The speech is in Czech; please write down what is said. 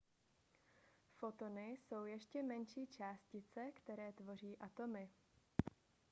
fotony jsou ještě menší než částice které tvoří atomy